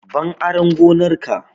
Ban aran gonar ka!